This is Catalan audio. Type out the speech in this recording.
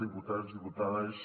diputats diputades